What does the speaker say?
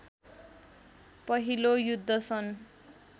पहिलो युद्ध सन्